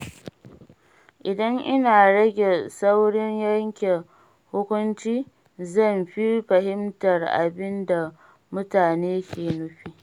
Idan ina rage saurin yanke hukunci, zan fi fahimtar abin da mutane ke nufi.